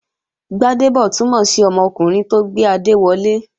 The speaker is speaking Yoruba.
Gbádébọ̀ túnmọ̀ sí ọmọkùnrin tó gbé adé wọlé